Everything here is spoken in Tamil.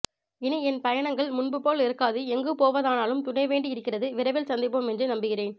இனி என் பயணங்கள் முன்புபோல் இருக்காது எங்கு போவதானாலும் துணை வேண்டி இருக்கிறது விரைவில் சந்திப்போம் என்று நம்புகிறேன்